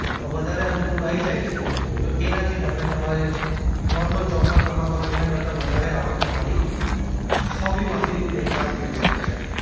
વધારે અનુકૂળ આઈ જાય છે તો એનાથી તમે તમારે જે નોર્મલ જોબમાં કમાતા હોય એના કરતાં વધારે આવક તમારી હોબીમાંથી ચાલુ થઈ શકે છે.